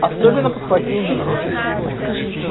особенно подхватил юра